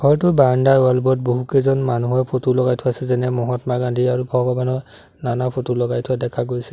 ঘৰটোৰ বৰাণ্ডাৰ ৱাল বোৰত বহুকেইজন মানুহৰ ফটো লগাই থোৱা আছে যেনে মহাত্মা গান্ধী আৰু ভগৱানৰ নানা ফটো লগাই থোৱা দেখা গৈছে।